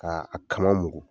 Ka a kama muku.